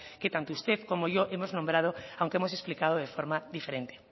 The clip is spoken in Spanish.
que tanto usted como yo hemos nombrado aunque hemos explicado de forma diferente